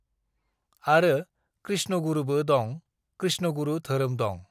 "आरो कृष्णगुरुबो दं, कृष्णगुरु धोरोम दं।"